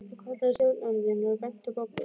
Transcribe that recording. Þú kallaði stjórnandinn og benti á Boggu.